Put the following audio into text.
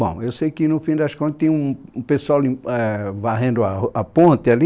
Bom, eu sei que no fim das contas tinha um um pessoal limp, ãh varrendo a ru a ponte ali,